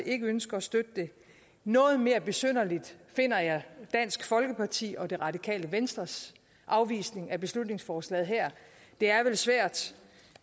ikke ønsker at støtte det noget mere besynderligt finder jeg dansk folkeparti og det radikale venstres afvisning af beslutningsforslaget her det er vel svært